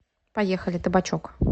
поехали табачок